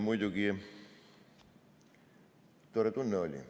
Muidugi, tore tunne oli.